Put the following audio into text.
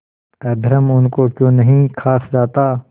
अधर्म उनको क्यों नहीं खा जाता